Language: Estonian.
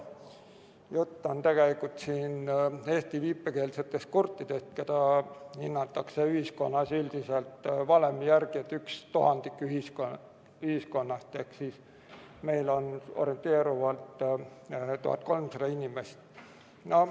Jutt on Eesti viipekeelsetest kurtidest, keda hinnatakse ühiskonnas üldiselt valemi järgi üks tuhandik ühiskonnast ehk siis meil on orienteeruvalt 1300 inimest.